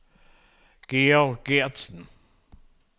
Georg Gertsen